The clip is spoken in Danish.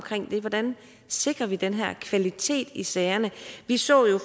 det hvordan sikrer vi den her kvalitet i sagerne vi så jo